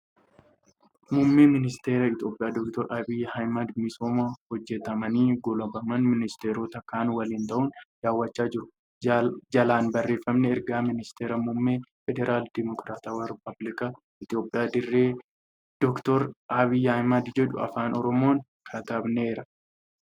Muummeen Ministara Itiyoophiyaa Dr. Abiyyi Ahmad misooma hojjatamanii goolabaman ministaroota kaan waliin ta'uun daawwachaa jiru. Jalaan barreeffamni ' Ergaa Ministira Muummee FDRI Dr. Abiyyi Ahmad ' jedhu Afaan Oromoon katabaneera.